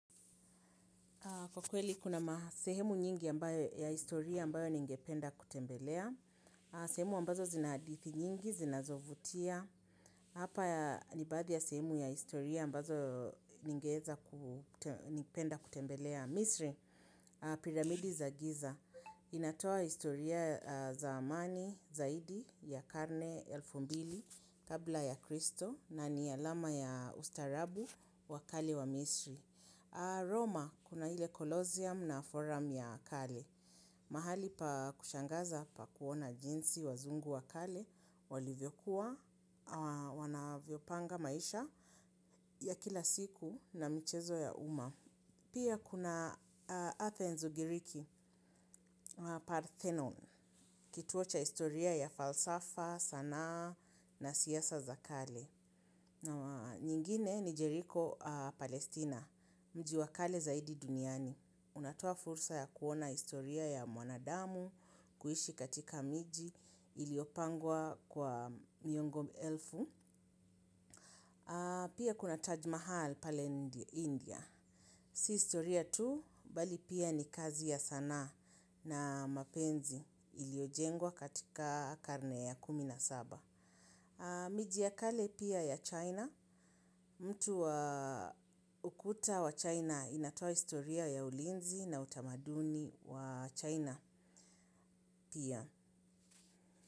Kwa kweli, kuna ma sehemu nyingi ya historia ambayo ningependa kutembelea. Sehemu ambazo zina hadithi nyingi, zinazovutia. Hapa ya nibaadhi ya sehemu ya historia ambazo ningeeza ku penda kutembelea. Misri, piramidi za giza. Inatoa historia za amani, zaidi, ya karne, elfu mbili, kabla ya kristo, na ni alama ya ustarabu, wakali wa misri. Roma kuna ile kolosium na forum ya kale. Mahali pa kushangaza pa kuona jinsi wazungu wakale, walivyokuwa, wanavyopanga maisha ya kila siku na mchezo ya umma. Pia kuna Athens ungiriki, Parthenon, kituo cha historia ya falsafa, sanaa na siasa za kale. Nyingine ni Jericho, Palestina, mjiwakale zaidi duniani. Unatoa fursa ya kuona historia ya mwanadamu, kuishi katika miji, iliopangwa kwa miongo mi elfu. Pia kuna Taj Mahal pale India. Si historia tu, bali pia ni kazi ya sanaa na mapenzi iliyojengwa katika karne ya kumina saba. Mijia kale pia ya China, mtu wa ukuta wa China inatoa historia ya ulinzi na utamaduni wa China pia.